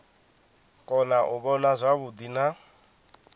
kona u vhona zwavhuḓi na